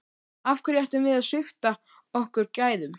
Af hverju ættum við að svipta okkur gæðum?